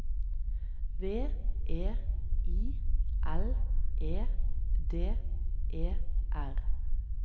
V E I L E D E R